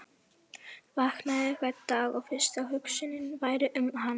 Vaknaði hvern dag og fyrsta hugsunin væri um hann.